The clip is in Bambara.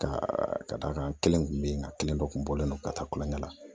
Ka ka da kan kelen kun be yen nka kelen dɔ kun bɔlen don ka taa kulonkɛ la